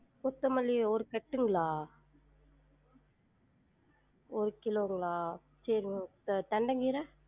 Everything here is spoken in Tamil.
கொத்தமல்லி ஒரு கட்டுங்களா? ஒரு கிலோங்களா? சரிங்க த~ தண்டங்கீர?